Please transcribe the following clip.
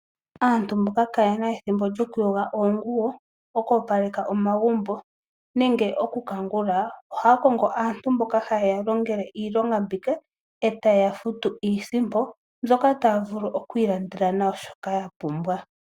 Aantu mboka kaye na ethimbo lyokuyoga oonguwo, okuopaleka omagumbo nenge okukangula, ohaya kongo aantu mboka haye ya ye ya longele iilonga mbika e taye ya futu iisimpo mbyoka taya vulu okuilandela nayo shoka ya pumbwa.